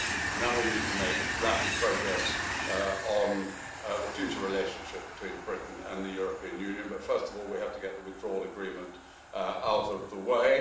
Now we need to make rapid progress on the future relationship between Britain and the European Union, but first of all we have to get the Withdrawal Agreement out of the way.